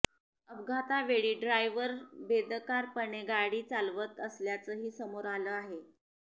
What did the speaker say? अपघातावेळी driver बेदरकारपणे गाडी चालवत असल्याचंही समोर आलं आहे